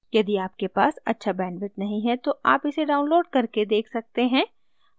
यदि आपके पास अच्छा bandwidth नहीं है तो आप इसे download करके देख सकते हैं